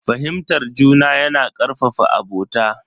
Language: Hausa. Fahimtar juna yana karfafa abota.